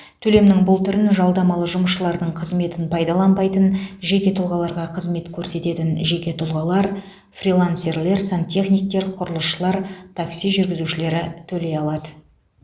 төлемнің бұл түрін жалдамалы жұмысшылардың қызметін пайдаланбайтын жеке тұлғаларға қызмет көрсететін жеке тұлғалар фрилансерлер сантехниктер құрылысшылар такси жүргізушілері төлей алады